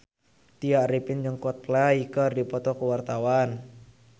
Tya Arifin jeung Coldplay keur dipoto ku wartawan